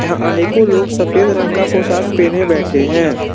अनेको लोग सफेद रंग का पोषक पहने बैठे हैं।